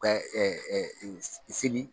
Ɛɛ seli